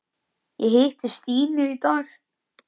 Ég hitti Stínu í dag.